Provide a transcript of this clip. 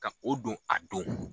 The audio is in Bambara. Ka o don a don